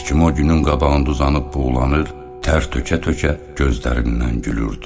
Heç kim o günün qabağında uzanıb buğlanır, tər tökə-tökə gözlərindən gülürdü.